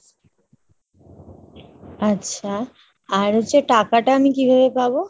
আচ্ছা, আর হচ্ছে টাকাটা আমি কিভাবে পাবো ?